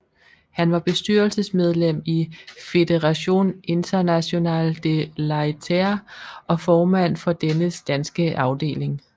Han var bestyrelsesmedlem i Fédération International de Laiterie og formand for dennes danske afdeling